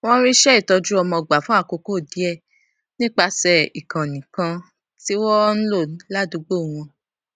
wón rí iṣẹ ìtọjú ọmọ gbà fún àkókò díè nípasè ìkànnì kan tí wón ń lò ládùúgbò wọn